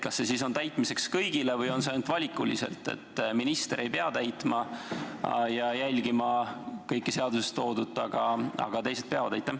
Kas see seadus on täitmiseks kõigile või võib seda täita ainult valikuliselt: minister ei pea täitma ja jälgima kõike seaduses toodut, aga teised peavad?